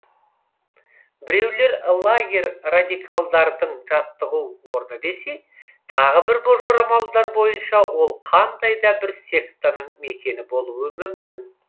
біреулер лагерь радикалдардың жаттығу орны десе тағы бір жорамалдар бойынша ол қандай да бір сектаның мекені болуы мүмкін